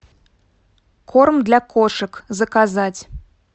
корм для кошек заказать